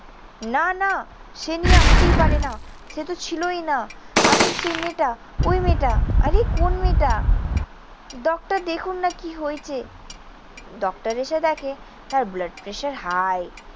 না। না। সে নিয়ে আসতেই পারে না। সে তো ছিলই না। আমি সেই মেয়েটা, ওই মেয়েটা। আরে কোন মেয়েটা? ডক্টর দেখুন না কি হয়েছে? ডক্টর এসে দেখে তার blood pressure high